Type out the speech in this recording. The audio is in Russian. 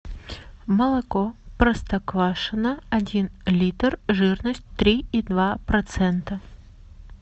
молоко простоквашино один литр жирность три и два процента